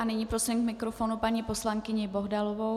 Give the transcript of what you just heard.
A nyní prosím k mikrofonu paní poslankyni Bohdalovou.